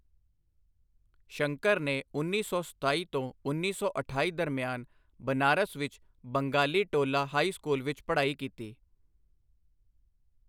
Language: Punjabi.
ਸ਼ੰਕਰ ਨੇ ਉੱਨੀ ਸੌ ਸਤਾਈ ਤੋਂ ਉੱਨੀ ਸੌ ਅਠਾਈ ਦਰਮਿਆਨ ਬਨਾਰਸ ਵਿੱਚ ਬੰਗਾਲੀਟੋਲਾ ਹਾਈ ਸਕੂਲ ਵਿੱਚ ਪੜ੍ਹਾਈ ਕੀਤੀ।